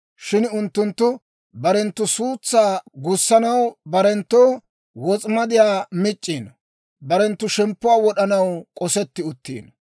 Shin unttunttu barenttu suutsaa gussanaw barenttoo wos'imadiyaa mic'c'iino; barenttu shemppuwaa wod'anaw k'osetti uttiino.